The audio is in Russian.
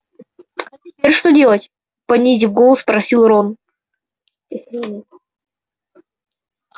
а теперь что делать понизив голос спросил рон